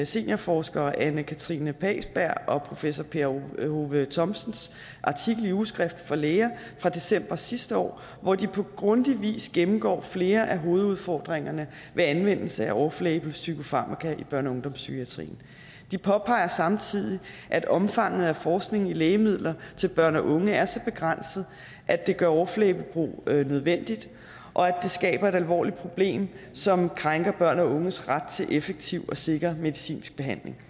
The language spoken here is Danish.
seniorforsker anne katrine pagsberg og professor per hove thomsens artikel i ugeskrift for læger fra december sidste år hvor de på grundig vis gennemgår flere af hovedudfordringerne ved anvendelse af off label psykofarmaka i børne og ungdomspsykiatrien de påpeger samtidig at omfanget af forskning i lægemidler til børn og unge er så begrænset at det gør off label brug nødvendigt og at det skaber et alvorligt problem som krænker børns og unges ret til effektiv og sikker medicinsk behandling